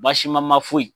Baasi ma ma foyi